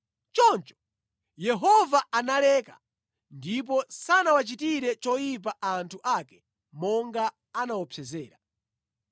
Choncho Yehova analeka ndipo sanawachitire choyipa anthu ake monga anaopsezera.